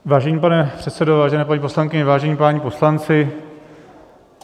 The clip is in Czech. Vážený pane předsedo, vážené paní poslankyně, vážení páni poslanci.